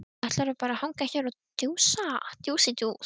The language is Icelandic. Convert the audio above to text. Ætlarðu bara að hanga hér og djúsa?